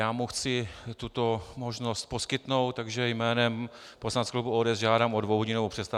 Já mu chci tuto možnost poskytnout, takže jménem poslaneckého klubu ODS žádám o dvouhodinovou přestávku.